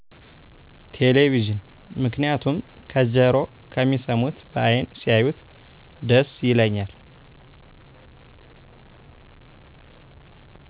ቴሌቪዥን ምክንያቱም ከጀሮ ከሚሰሙት በአይን ሲያዪት ደስ ይለኛል።